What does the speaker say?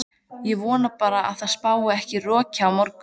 Ég vona bara að það spái ekki roki á morgun.